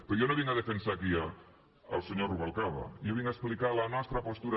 però jo no vinc a defensar aquí el senyor rubalcaba jo vinc a explicar la nostra postura